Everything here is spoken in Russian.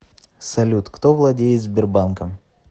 салют кто владеет сбербанком